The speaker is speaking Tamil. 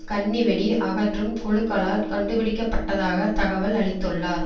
கண்ணி வெடி அகற்றும் குழுக்களால் கண்டுபிடிக்க பட்டதாக தகவல் அளித்துள்ளார்